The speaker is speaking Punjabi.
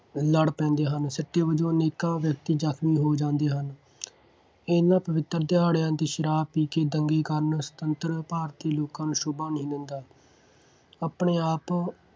ਲੜ ਪੈਂਦੇ ਹਨ। ਸਿੱਟੇ ਵਜੋਂ ਅਨੇਕਾਂ ਵਿਅਕਤੀ ਜ਼ਖਮੀ ਹੋ ਜਾਂਦੇ ਹਨ। ਇਹਨਾ ਪਵਿੱਤਰ ਦਿਹਾੜਿਆਂ 'ਤੇ ਸ਼ਰਾਬ ਪੀ ਕੇ ਦੰਗੇ ਕਰਨ ਸੁਤੰਤਰ ਭਾਰਤੀ ਲੋਕਾਂ ਨੂੰ ਸ਼ੋਭਾ ਨਹੀਂ ਦਿੰਦਾ। ਆਪਣੇ ਆਪ